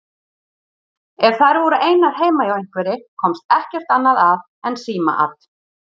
Ef þær voru einar heima hjá einhverri komst ekkert annað að en símaat.